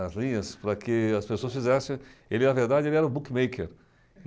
as linhas para que as pessoas fizessem... Ele, na verdade, era o bookmaker.